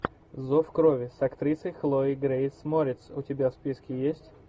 зов крови с актрисой хлоей грейс мориц у тебя в списке есть